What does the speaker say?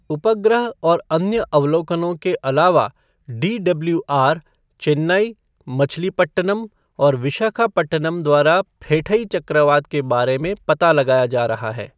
उपग्रह और अन्य अवलोकनों के अलावा डीडब्लूआर चेन्नई, मछलीपट्टनम और विशाखापट्टनम द्वारा भी फेठई चक्रवात के बारे में पता लगाया जा रहा है।